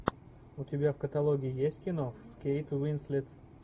у тебя в каталоге есть кино с кейт уинслет